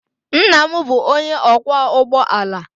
Nna m bụ onye ọkwọ ụgbọ ala